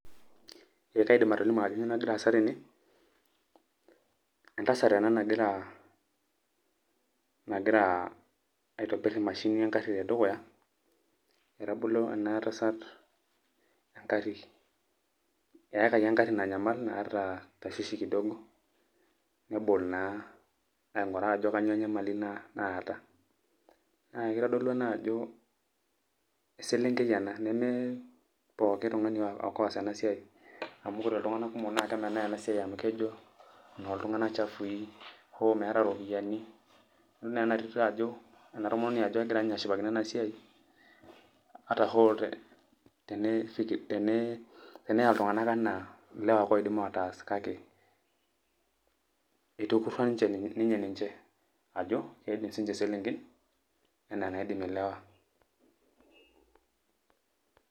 Ee kaidim atolimu ajo kanyioo nagira aasa tene, entasat ena nagira, nagira aitobir emashini egarri tedukuya, etabolo enatasat egarri, eakaki egarri nanyamal naa tashishi kidogo, nebol naa aing'uraa ajo kanyioo enyamali naata. Naa kitodolu ena ajo eselenkei ena, neme pooki tung'ani ake oas enasiai, amu ore iltung'anak kumok na kemenaa enasiai amu kejo enoltung'anak chafui, ho meeta ropiyaiani, idol naa enatito ajo enatomononi ajo kegira nye ashipakino enasiai, ata hoo teneya iltung'anak enaa ilewa ake oidim ataas, kake itukurrua nye ninche ajo, keidim sininche iselenken, enaa enaidim ilewa.